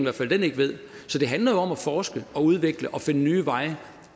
at den ikke ved så det handler jo om at forske og udvikle og finde nye veje